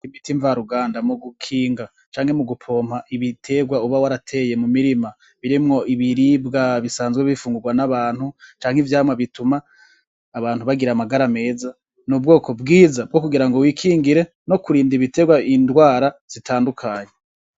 Imiti mva ruganda, mu gukinga canke mugupompa ibiterwa uba warateye mu mirima birimwo ibiribwa bisanzwe bifungurwa n'abantu, canke ivyamwa bituma abantu bagira amagara meza. N'ubwoko bwiza bwo kugira ngo wikingire no kurinda ibiterwa indwara zitandukanye.